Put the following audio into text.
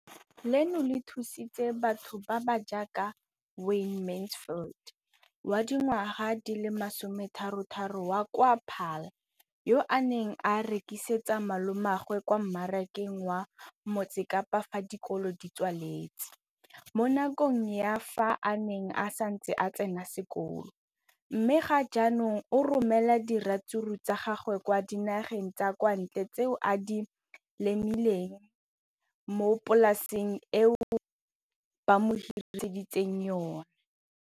leno le thusitse batho ba ba jaaka Wayne Mansfield, 33, wa kwa Paarl, yo a neng a rekisetsa malomagwe kwa Marakeng wa Motsekapa fa dikolo di tswaletse, mo nakong ya fa a ne a santse a tsena sekolo, mme ga jaanong o romela diratsuru tsa gagwe kwa dinageng tsa kwa ntle tseo a di lemileng mo polaseng eo ba mo hiriseditseng yona.